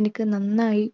എനിക്ക് നന്നായി